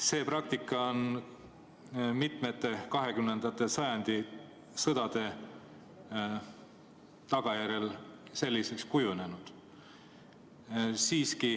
See praktika on kujunenud mitmete 20. sajandi sõdade tagajärjel.